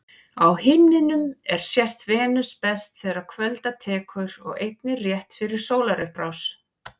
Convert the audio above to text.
Á himninum er sést Venus best þegar kvölda tekur og einnig rétt fyrir sólarupprás.